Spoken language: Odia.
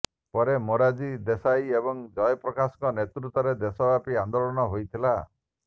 ପରେ ମୋରାରଜୀ ଦେଶାଇ ଏବଂ ଜୟପ୍ରକାଶଙ୍କ ନେତୃତ୍ବରେ ଦେଶବ୍ୟାପୀ ଆନ୍ଦୋଳନ ହୋଇଥିଲା